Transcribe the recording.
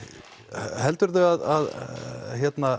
heldurðu að